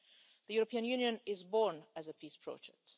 The European Union was born as a peace project.